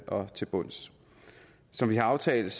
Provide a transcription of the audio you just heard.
og til bunds som vi har aftalt